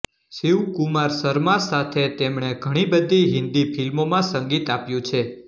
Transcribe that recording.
શિવકુમાર શર્મા સાથે તેમણે ઘણી બધી હિન્દી ફિલ્મોમાં સંગીત આપ્યું છે